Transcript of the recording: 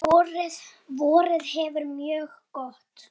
Vorið hefur verið mjög gott.